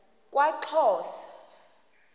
kwaxhosa